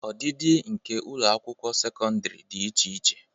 Ọdịdị nke ụlọ akwụkwọ sekọndrị dị iche iche..